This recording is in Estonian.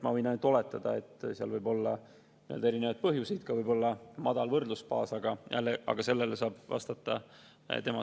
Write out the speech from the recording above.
Ma võin ainult oletada, et seal võib olla erinevaid põhjuseid, võib olla ka madal võrdlusbaas, aga jälle, sellele saab siis vastata tema.